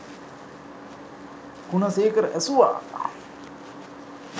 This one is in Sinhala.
ගුණසේකර ඇසුවා